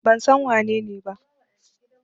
Ban san wanene ba.